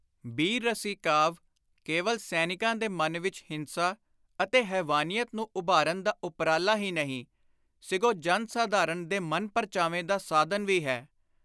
ਬੀਰ-ਰਸੀ ਕਾਵਿ ਕੇਵਲ ਸੈਨਿਕਾਂ ਦੇ ਮਨ ਵਿਚ ਹਿੰਸਾ ਅਤੇ ਹੈਵਾਨੀਅਤ ਨੂੰ ਉਭਾਰਨ ਦਾ ਉਪਰਾਲਾ ਹੀ ਨਹੀਂ, ਸਿਗੋਂ ਜਨ-ਸਾਧਾਰਣ ਦੇ ਮਨ-ਪਰਚਾਵੇ ਦਾ ਸਾਧਨ ਵੀ ਹੈ।